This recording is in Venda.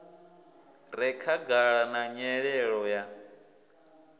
re khagala na nyelelo ya